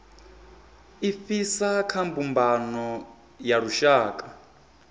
ifhasi kha mbumbano ya lushaka